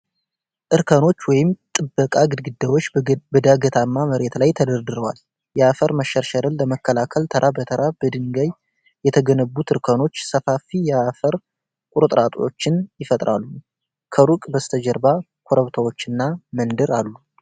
እርከኖች/ጥበቃ ግድግዳዎች በዳገታማ መሬት ላይ ተደርድረዋል። የአፈር መሸርሸርን ለመከላከል ተራ በተራ በድንጋይ የተገነቡት እርከኖች ሰፋፊ የአፈር ቁርጥራጮችን ይፈጥራሉ። ከሩቅ በስተጀርባ ኮረብታዎችና መንደር አሉ።